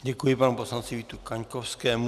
Děkuji panu poslanci Vítu Kaňkovskému.